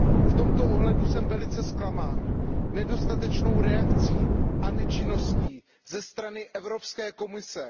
V tomto ohledu jsem velice zklamán nedostatečnou reakcí a nečinností ze strany Evropské komise.